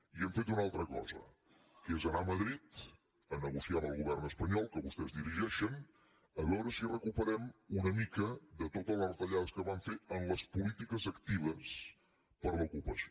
i hem fet una altra cosa que és anar a madrid a negociar amb el govern espanyol que vostès dirigeixen a veure si recuperem una mica de totes les retallades que van fer en les polítiques actives per a l’ocupació